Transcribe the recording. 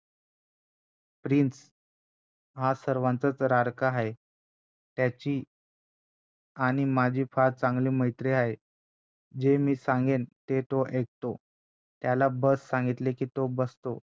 prince सर्वांचाचं लाडका आहे त्याची आणि माझी फार चांगली मैत्री आहे जे मी सांगेन तो ते ऐकतो त्याला बस सांगितले कि तो बसतो